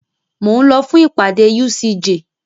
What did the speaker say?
Mo ń lọ fún ìpàdé UCJ.